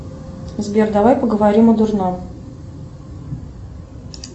сбер давай поговорим о дурном